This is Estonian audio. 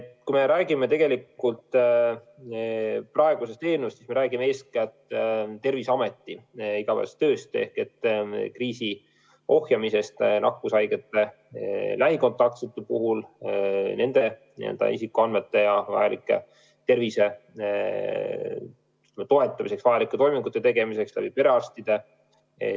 Kui me räägime praegusest eelnõust, siis me räägime eeskätt Terviseameti igapäevasest tööst ehk kriisi ohjamisest, kogudes andmeid nakkushaigete lähikontaktsete kohta, mida vajavad isikute tervise toetamiseks vajalike toimingute tegemiseks perearstid.